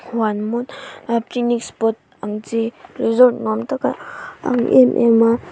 huan mawn a picnic spot ang chi resort nuam tak a ang em em a.